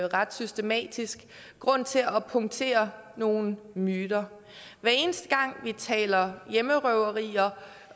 ret systematisk grund til at punktere nogle myter hver eneste gang vi taler om hjemmerøverier